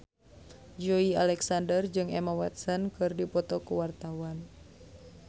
Joey Alexander jeung Emma Watson keur dipoto ku wartawan